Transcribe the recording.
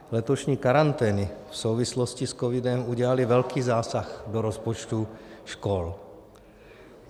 Letošní karantény v souvislosti s covidem udělaly velký zásah do rozpočtu škol.